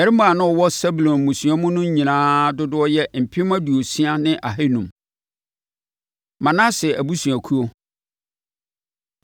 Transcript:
Mmarima a na wɔwɔ Sebulon mmusua no mu no nyinaa dodoɔ yɛ mpem aduosia ne ahanum. Manase Abusuakuo